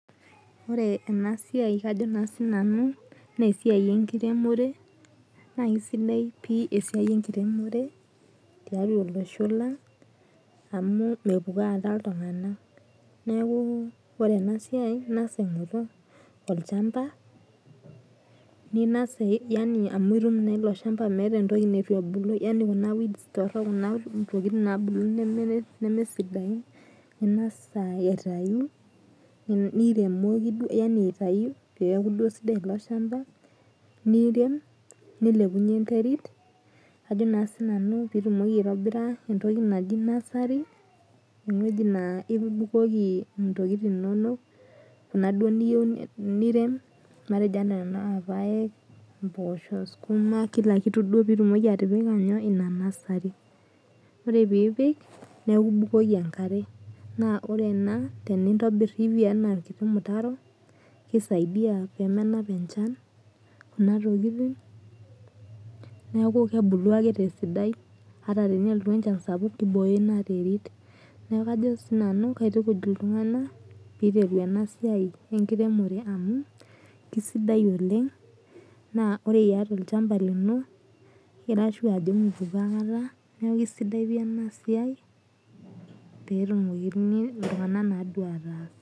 Ore enasia kajo na sinanu na esuai enkiremore na kesidai pii esiai enkiremore amu mepukoo ake ltunganak ore enasia tolchamba nitum eleshamba meeta entoki natubulua nemesidai ningasa aitau peaku sidai eleshamba nirem nilepunye enterit pitumoki aitobira entoki naijo nursery ewueji na ibukoki ntokitin inonok niyieu niun matejo nai impoosho, sukuma kila kitu pitumoki atipika ina nasary ore pipik neaku ibukoki enkare nintobir pii kisaidia pemenap enchan kuna tokitin neaku kebulu ake tesidai ata tenelotu enchan sapuk neaku kajoki ltunganak pilepie enasia enkiremore amu kesidai oleng amu ore iata olchamba lino mipukoo akata netumoki ltunganak aataas.